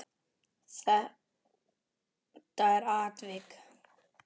Þetta er atvik.